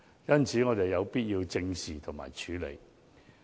因此，我們有必要正視和處理有關問題。